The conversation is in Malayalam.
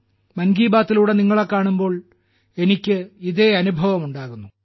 മൻ കി ബാത്തിലൂടെ നിങ്ങളെ കാണുമ്പോൾ എനിക്ക് ഇതേ അനുഭവം ഉണ്ടാകുന്നു